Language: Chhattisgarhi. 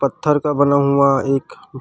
पत्थर का बना हुआ एक--